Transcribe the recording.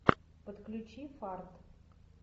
подключи фарт